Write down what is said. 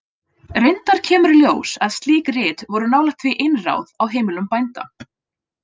Reyndar kemur í ljós að slík rit voru nálægt því einráð á heimilum bænda.